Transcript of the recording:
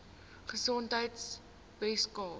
gesondheidweskaap